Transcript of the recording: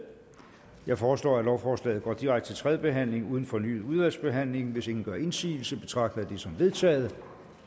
jeg foreslår at lovforslaget går direkte til tredje behandling uden fornyet udvalgsbehandling hvis ingen gør indsigelse betragter jeg det som vedtaget